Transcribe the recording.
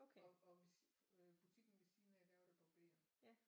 Og og butikken ved siden af der var der barber